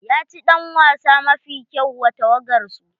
Ya ci ɗan wasa mafi kyau wa tawagar su.